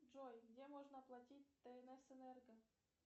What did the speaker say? джой где можно оплатить тнс энерго